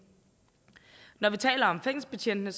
når vi taler om fængselsbetjentene